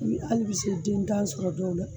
Hali bi se dentan sɔrɔ dɔw la